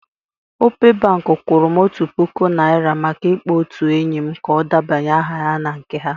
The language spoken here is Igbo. Opay bank kwụrụ m otu puku naira maka ịkpọ otu enyi m ka ọ debanye aha na nke ha.